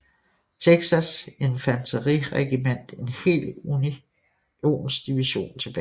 Texas infanteriregiment en hel unionsdivision tilbage